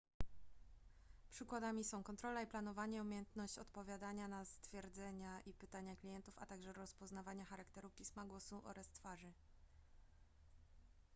przykładami są kontrola i planowanie umiejętność odpowiadania na stwierdzenia i pytania klientów a także rozpoznawanie charakteru pisma głosu oraz twarzy